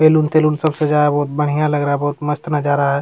Balloon तैलून सब सजाया बहुत बढ़िया लग रहा है बहुत मस्त नजारा है।